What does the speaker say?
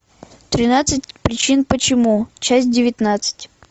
тринадцать причин почему часть девятнадцать